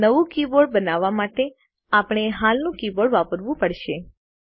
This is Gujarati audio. નવું કીબોર્ડ બનાવવા માટે આપણે હાલનું કીબોર્ડ વાપરવું પડશે